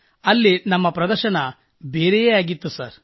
ಇಲ್ಲಿ ನಮ್ಮ ಪ್ರದರ್ಶನ ಬೇರೆಯೇ ಆಗಿತ್ತು ಸರ್